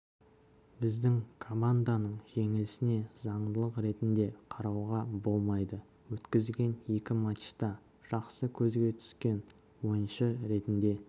біздің команданың жеңілісіне заңдылық ретінде қарауға болмайды өткізген екі матчта жақсы көзге түскен ойыншы ретінде